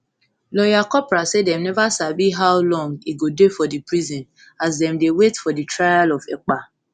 lawyer kopra say dem neva sabi how long e go dey for di prison as dem dey wait for di trial of ekpa